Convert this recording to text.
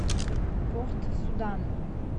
порт судан